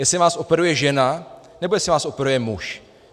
Jestli vás operuje žena, nebo jestli vás operuje muž?